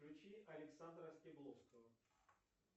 включи александра стебловского